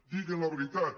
diguen la veritat